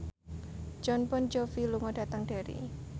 Jon Bon Jovi lunga dhateng Derry